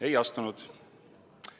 Ei astunud.